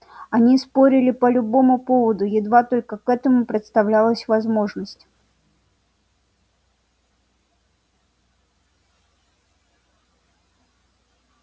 они спорили по любому поводу едва только к этому предоставлялась возможность